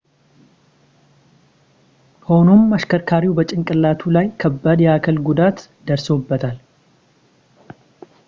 ሆኖም አሽከርካሪው በጭንቅላቱ ላይ ከባድ የአካል ጉዳት ደርሶበታል